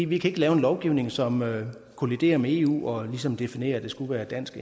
vi kan ikke lave en lovgivning som kolliderer med eu og ligesom definerer at det skal være dansk